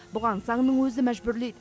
бұған заңның өзі мәжбүрлейді